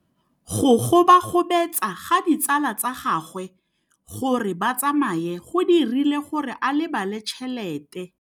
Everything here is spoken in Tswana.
Go gobagobetsa ga ditsala tsa gagwe, gore ba tsamaye go dirile gore a lebale tšhelete.